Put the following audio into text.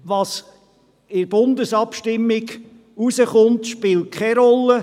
Was in der Bundesabstimmung herauskommt, spielt keine Rolle.